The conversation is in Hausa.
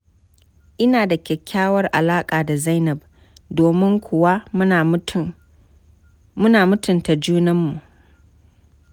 Ina da kyakkyawar alaƙa da Zainab, domin kuwa muna mutun ta junanmu.